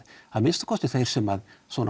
að minnsta kosti þeir sem